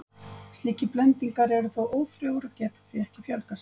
Slíkir blendingar eru þó ófrjóir og geta því ekki fjölgað sér.